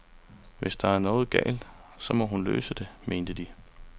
Hvis der er noget galt, så må hun løse det, mente de.